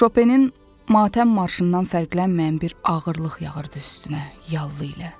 Şopenin matəm marşından fərqlənməyən bir ağırlıq yağırdı üstünə yallı ilə.